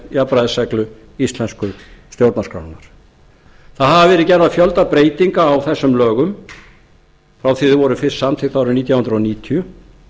jafnræðisreglu íslensku stjórnarskrárinnar það hafa verið gerðar fjölda breytinga á þessum lögum frá því þau voru fyrst samþykkt árið nítján hundruð níutíu